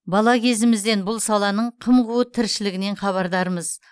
бала кезімізден бұл саланың қым қуыт тіршілігінен хабардармыз